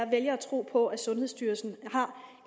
vælger at tro på at sundhedsstyrelsen har